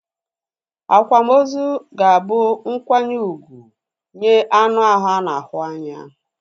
Akwamozu ga-abu nkwanye úgwù nye anu ahụ ana ahu anya